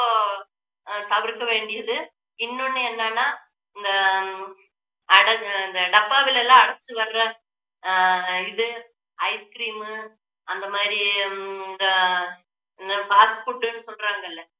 அஹ் தவிர்க்க வேண்டியது இன்னொண்ணு என்னன்னா இந்த அடை~ டப்பாவுல எல்லாம் அடைச்சு வர்ற ஆஹ் இது ice cream உ அந்த மாதிரி ஹம் இந்த fast food ன்னு சொல்றாங்க இல்ல